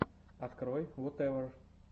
открой вотэвер